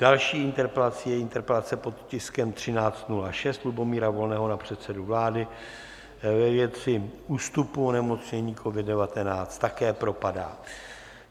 Další interpelací je interpelace pod tiskem 1306 Lubomíra Volného na předsedu vlády ve věci ústupu onemocnění COVID-19, také propadá.